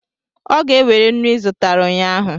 Ọ ga-ewere nnu ị zụtara ụnyahụ